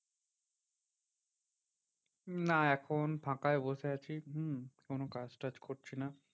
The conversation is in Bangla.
না এখন ফাঁকায় বসে আছি। হম কোনো কাজ টাজ করছি না।